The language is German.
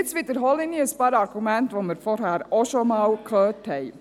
Jetzt wiederhole ich ein paar Argumente, die wir vorhin schon gehört haben.